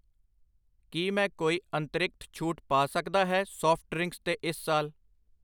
ਕਿ ਮੈਂ ਕੋਈ ਅੰਤਰਿਕਤ ਛੂਟ ਪਾ ਸਕਦਾ ਹੈ ਸਾਫਟ ਡਰਿੰਕਸ ਤੇ ਇਸ ਸਾਲ ?